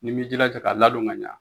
Ni m'i jilaja ka ladon ka ɲa